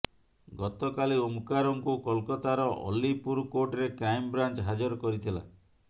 ଗତକାଲି ଓମକାରଙ୍କୁ କୋଲକାତାର ଅଲିପୁର କୋର୍ଟରେ କ୍ରାଇମବ୍ରାଞ୍ଚ ହାଜର କରିଥିଲା